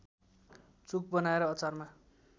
चुक बनाएर अचारमा